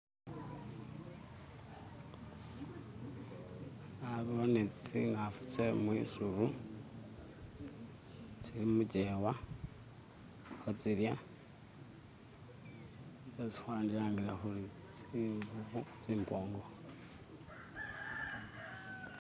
Nabone tsingafu tsemwisubu tsili mujewa khe tsilya tsesi kwandilangile khuri tsimbubu tsimpongo